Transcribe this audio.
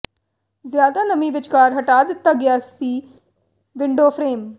ਜ਼ਿਆਦਾ ਨਮੀ ਵਿਚਕਾਰ ਹਟਾ ਦਿੱਤਾ ਗਿਆ ਸੀ ਵਿੰਡੋ ਫਰੇਮ